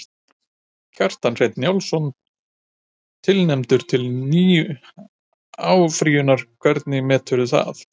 Kjartan Hreinn Njálsson: Tilefni til áfrýjunar, hvernig meturðu það?